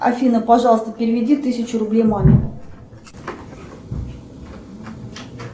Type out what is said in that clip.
афина пожалуйста переведи тысячу рублей маме